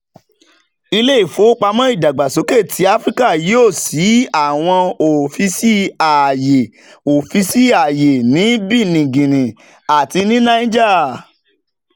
ile ifowopamo idagbasoke ti afirika yoo ṣii awọn ọfiisi aaye ọfiisi aaye ni benin guinea ati niger